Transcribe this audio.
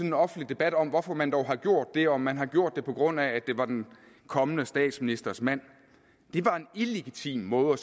en offentlig debat om hvorfor man dog har gjort det om man har gjort det på grund af at det var den kommende statsministers mand det var en illegitim måde at